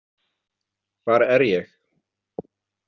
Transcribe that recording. Hvar er ég?